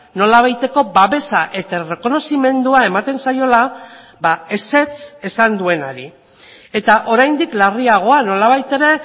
nolabaiteko babesa eta errekonozimendua ematen zaiola ezetz esan duenari eta oraindik larriagoa nolabait ere